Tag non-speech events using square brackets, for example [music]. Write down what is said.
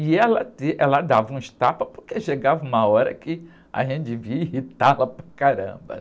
E ela, [unintelligible] ela dava uns tapas porque chegava uma hora que a gente devia irritá-la para caramba.